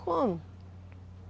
Como?